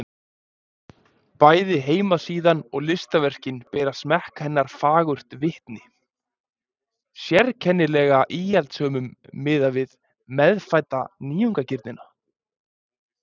Bæði heimasíðan og listaverkin bera smekk hennar fagurt vitni, sérkennilega íhaldssömum miðað við meðfædda nýjungagirnina.